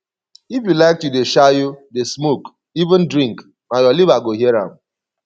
if you like to dey shayo dey smoke even drink na your liver go hear am